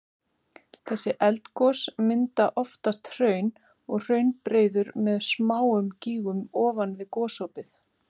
Þessi eldgos mynda oftast hraun og hraunbreiður með smáum gígum ofan við gosopið.